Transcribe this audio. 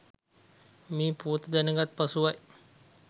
මේ පුවත දැනගත් පසුවයි.